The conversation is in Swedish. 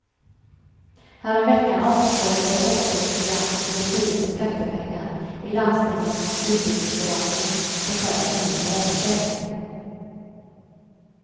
Häromveckan avslöjades också ett gigantiskt slöseri med skattepengar i landstingets utbildningsförvaltning där chefen nu är avstängd.